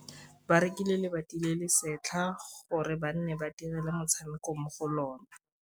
Ba rekile lebati le le setlha gore bana ba dire motshameko mo go lona.